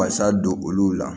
Wasa don olu la